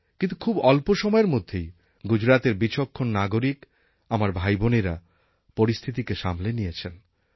কিন্তু খুব অল্প সময়ের মধ্যেই গুজরাতের বিচক্ষণ নাগরিক আমার ভাইবোনেরা পরিস্থিতিকে সামলে নিয়েছেন